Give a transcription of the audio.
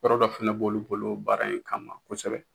Yɔrɔ dɔ fɛnɛ b'olu bolo baara in kama kosɛbɛ.